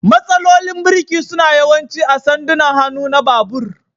Matsalolin birki suna yawanci a sandunan hannu na babur.